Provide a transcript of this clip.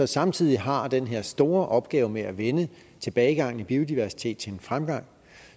samtidig har den her store opgave med at vende tilbagegangen i biodiversitet til en fremgang